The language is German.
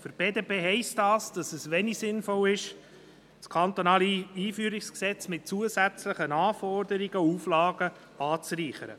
Für die BDP heisst das, dass es wenig sinnvoll ist, das kantonale Einführungsgesetz mit zusätzlichen Anforderungen und Auflagen anzureichern.